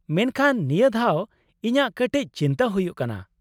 ᱢᱮᱱᱠᱷᱟᱱ ᱱᱤᱭᱟᱹ ᱫᱷᱟᱣ ᱤᱧᱟᱹᱜ ᱠᱟᱴᱤᱡ ᱪᱤᱱᱛᱟᱹ ᱦᱩᱭᱩᱜ ᱠᱟᱱᱟ ᱾